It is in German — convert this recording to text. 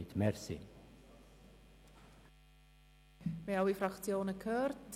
Wir haben alle Fraktionen gehört.